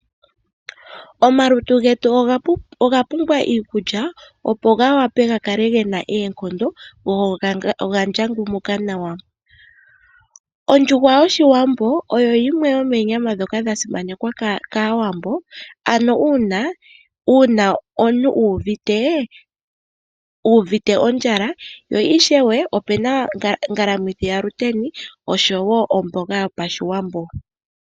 Omalutu getu oga pumbwa iikulya opo ga wape gakale gena oonkondo go oga ndjangumuka nawa, ondjuhwa yoshiwambo oyo yimwe yomo nyama ndhoka dha simanekwa kaawambo ano uuna omuntu uuvite ondjala yo ishewe opuna ngalamithi yamuteni nomboga yoshiwambo.